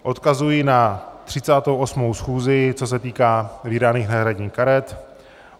Odkazuji na 38. schůzi, co se týká vydaných náhradních karet.